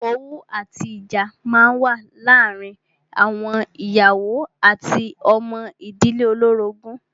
Owú àti ìjà máa ń wà láàárín àwọn ìyàwó àti ọmọ ìdílé olórogún.